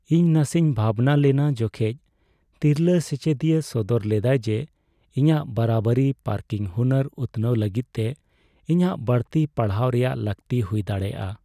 ᱤᱧ ᱱᱟᱥᱮᱧ ᱵᱷᱟᱵᱽᱱᱟ ᱞᱮᱱᱟ ᱡᱚᱠᱷᱮᱡ ᱛᱤᱨᱞᱟᱹ ᱥᱮᱪᱮᱫᱤᱭᱟᱹ ᱥᱚᱫᱚᱨ ᱞᱮᱫᱟᱭ ᱡᱮ ᱤᱧᱟᱹᱜ ᱵᱟᱨᱟᱵᱟᱨᱤ ᱯᱟᱨᱠᱤᱝ ᱦᱩᱱᱟᱹᱨ ᱩᱛᱱᱟᱹᱣ ᱞᱟᱹᱜᱤᱫ ᱛᱮ ᱤᱧᱟᱹᱜ ᱵᱟᱹᱲᱛᱤ ᱯᱟᱲᱦᱟᱣ ᱨᱮᱭᱟᱜ ᱞᱟᱹᱠᱛᱤ ᱦᱩᱭ ᱫᱟᱲᱮᱭᱟᱜᱼᱟ ᱾